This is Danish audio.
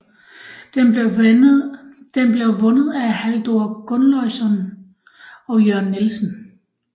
Den blev vundet af Halldor Gunnløgsson og Jørn Nielsen